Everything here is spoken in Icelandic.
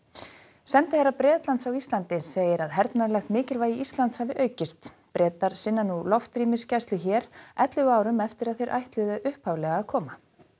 sendiherra Bretlands á Íslandi segir að hernaðarlegt mikilvægi Íslands hafi aukist Bretar sinna nú loftrýmisgæslu hér ellefu árum eftir að þeir ætluðu upphaflega að koma